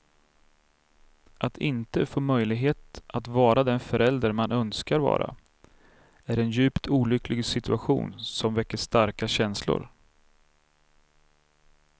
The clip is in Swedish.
Att inte få möjlighet att vara den förälder man önskar vara, är en djupt olycklig situation, som väcker starka känslor.